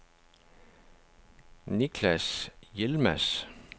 Niklas Yilmaz